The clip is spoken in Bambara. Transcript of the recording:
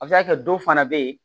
A bɛ se ka kɛ dɔw fana bɛ yen